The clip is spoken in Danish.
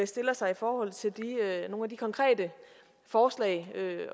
stiller sig i forhold til nogle af de konkrete forslag